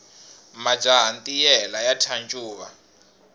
majaha ntiyela ya thya ncuva